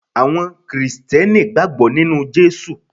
Àwọn Krìsìtẹ́nì gbàgbọ́ nínu Jésù